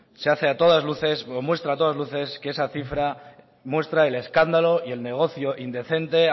se hace a todas luces o demuestra a todas luces que esa cifra muestra el escándalo y el negocio indecente